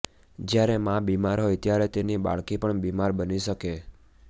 જ્યારે માં બીમાર હોય ત્યારે તેની બાળકી પણ બીમાર બની શકે